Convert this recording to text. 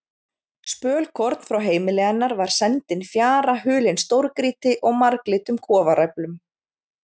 Spölkorn frá heimili hennar var sendin fjara hulin stórgrýti og marglitum kofaræflum.